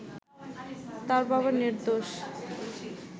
তার বাবা নির্দোষ